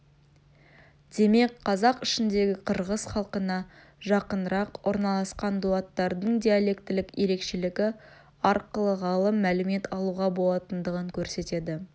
демек қазақ ішіндегі қырғыз халқына жақынырақ орналасқан дулаттардың диалектілік ерекшелігі арқылы ғалым мәлімет алуға болатындығын көрсетеді